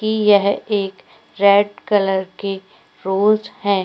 कि यह एक रेड कलर के रोज हैं।